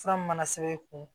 Fura mun mana sɛbɛn i kun